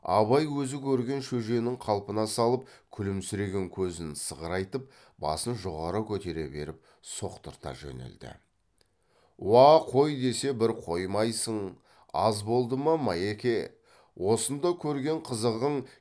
абай өзі көрген шөженің қалпына салып күлімсіреген көзін сығырайтып басын жоғары көтере беріп соқтырта жөнелді уа қой десе бір қоймайсың аз болды ма майеке осында көрген қызығың